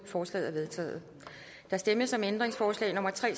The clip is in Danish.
forslaget er vedtaget der stemmes om ændringsforslag nummer tre